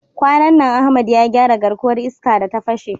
Kwanan nan Ahmad ya gyara garkuwar iska da ta fashe.